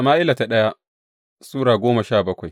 daya Sama’ila Sura goma sha bakwai